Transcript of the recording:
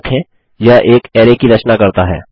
याद रखें यह एक अरै की रचना करता है